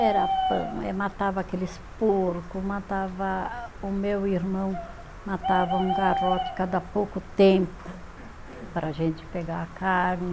Era pão, eh matava aqueles porco, matava, o meu irmão matava um garrote cada pouco tempo para a gente pegar a carne.